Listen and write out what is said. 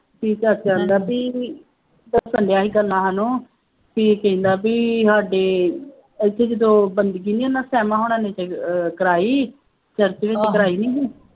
ਪਰ ਚੱਲਿਆ ਸੀ ਨਾਲ ਉਹ ਇਹ ਕਹਿੰਦਾ ਬਈ ਸਾਡੇ ਇੱਥੇ ਜਦੋਂ ਬੰਦਗੀ ਨਹੀਂ ਉਹਨਾ ਸਿਆਮਾਂ ਹੁਣਾਂ ਨੇ ਕਰਾਈ ਕਰਾਈ ਨਹੀਂ ਸੀ